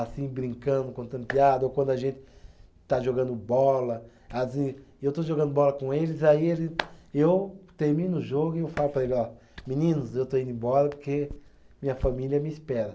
assim, brincando, contando piada, ou quando a gente está jogando bola, assim, eu estou jogando bola com eles, aí eles, eu termino o jogo e eu falo para eles, ó, meninos, eu estou indo embora porque minha família me espera.